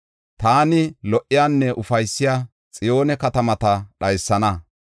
Taani lo77iyanne ufaysiya Xiyoone katamata dhaysana.